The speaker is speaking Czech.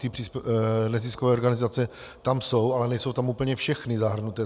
Ty neziskové organizace tam jsou, ale nejsou tam úplně všechny zahrnuté.